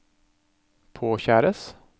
påkjæres